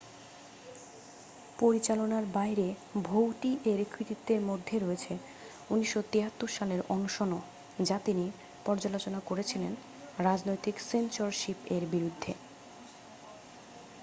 পরিচালনার বাইরে ভৌটিয়ের কৃতিত্বের মধ্যে রয়েছে 1973 সালের অনশনও যা তিনি পর্যালোচনা করেছিলেন রাজনৈতিক সেন্সরশিপ এর বিরুদ্ধে